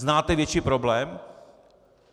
Znáte větší problém?